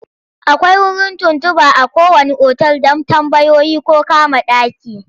Akwai wurin tuntuɓa a kowanne otal don tambayoyi ko kama ɗaki.